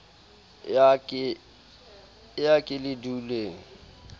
e a ke le duleng